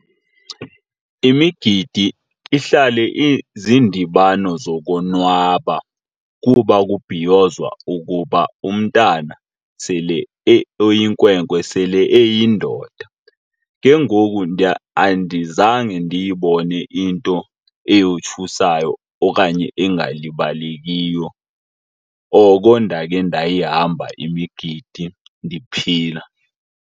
Imigidi ihlale izindibano zokonwaba kuba kubhiyozwa ukuba umntana sele oyinkwenkwe sele eyindoda. Ke ngoku andizange ndiyibone into eyothusayo okanye engalibalekiyo oko ndake ndayihamba imigidi ndiphila.